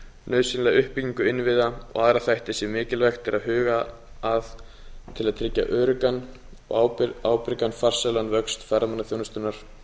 nauðsynlega uppbyggingu innviða og aðra þætti sem mikilvægt er að huga að til að tryggja öruggan ábyrgan og farsælan vöxt ferðaþjónustunnar